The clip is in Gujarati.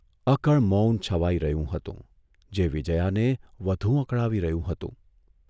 અકળ મૌન છવાઇ રહ્યું હતું જે વિજયાને વધુ અકળાવી રહ્યું હતું.